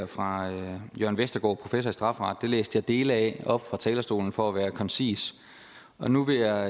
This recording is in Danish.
fra jørn vestergaard professor i strafferet læste jeg dele af op fra talerstolen for at være koncis nu vil jeg